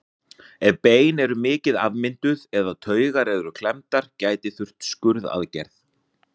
Ef bein eru mikið afmynduð eða taugar eru klemmdar gæti þurft skurðaðgerð.